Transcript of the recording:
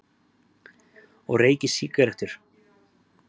Og reykir sígarettur!